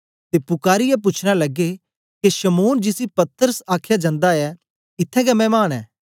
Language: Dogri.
ते पुकारीयै पूछना लगे के शमौन जिसी पतरस आखया जंदा ऐ इत्थैं गै मैमान ऐ